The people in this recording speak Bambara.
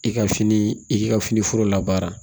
I ka fini i k'i ka fini foro labaara